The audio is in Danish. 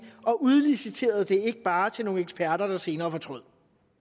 og udliciterede det ikke bare til nogle eksperter der senere fortrød